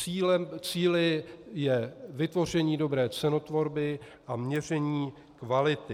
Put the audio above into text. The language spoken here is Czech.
Cílem, cíli je vytvoření dobré cenotvorby a měření kvality.